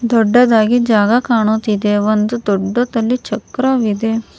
ದೊಡ್ಡದಾಗಿ ಜಾಗ ಕಾಣುತ್ತಿದೆ ಒಂದು ದೊಡ್ಡದಲಿ ಚಕ್ರವಿದೆ.